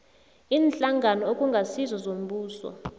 iinhlangano okungasizo zombuso